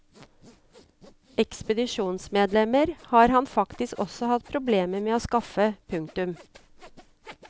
Ekspedisjonsmedlemmer har han faktisk også hatt problemer med å skaffe. punktum